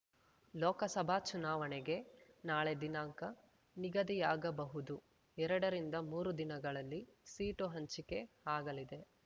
ಲೋಕಸಭಾ ಚುನಾವಣೆಗೆ ನಾಳೆ ದಿನಾಂಕ ನಿಗದಿಯಾಗಬಹುದು ಎರಡರಿಂದಮೂರು ದಿನಗಳಲ್ಲಿ ಸೀಟು ಹಂಚಿಕೆ ಆಗಲಿದೆ